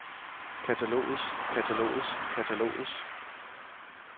katalogets katalogets katalogets